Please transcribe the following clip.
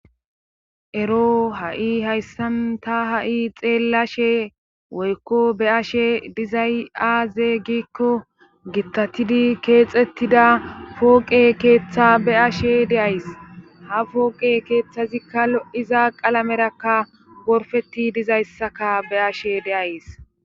Ero ha7i hayssan ta ha7i xeellashe woykko be ashe dizay aaze giikko gittatidi keexettida pooqe keeththa be ashe deays ha fooqe keeththazikka lo7iza qalamerakka gorfeti dizayssaka be ashe deays